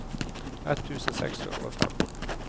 ett tusen seks hundre og fem